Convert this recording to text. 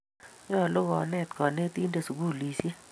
nyoluu konet konetik sukulisuiek